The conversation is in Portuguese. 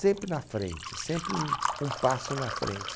Sempre na frente, sempre um um passo na frente.